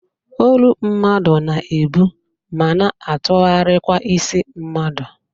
Olu mmadụ na-ebụ ma na atụgharịkwa isi mmadụ